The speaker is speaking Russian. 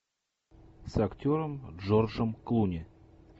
с актером джорджем клуни